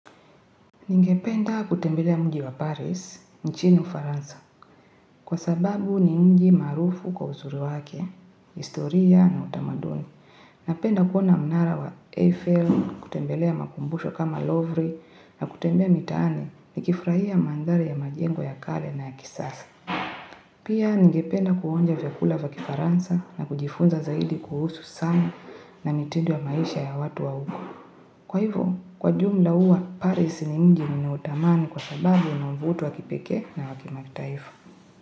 Ningependa kutembelea mji wa Paris, nchini ufaransa. Kwa sababu ni mji maarufu kwa uzuri wake, historia na utamaduni. Napenda kuona mnara wa Eiffle kutembelea makumbusho kama Lovry, na kutembea mitaani nikifurahia mandhari ya majengo ya kale na ya kisasa. Pia ningependa kuonja vyakula vya kifaransa na kujifunza zaidi kuhusu sana na mitindo ya maisha ya watu wa huko. Kwa hivyo, kwa jumla huwa, Paris ni mji ninautamani kwa sababu una uvuto wakipekee na wa kimataifa.